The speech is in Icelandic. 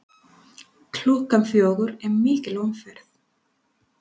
Klukkan fjögur er mikil umferð.